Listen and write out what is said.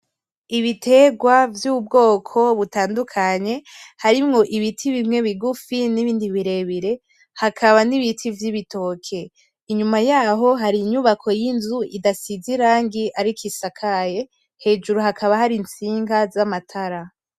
Ibitegwa vy’ubwoko butandukanye harimwo ibiti bimwe bigufi n’ibindi birebi. Hakaba n’ibiti vy’ibitoke. Inyuma yaho hari inyubako y’inzu idasize irangi ariko isakaye, hejuru hakaba hari intsinga z’amatara.